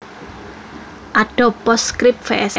Adobe PostScript vs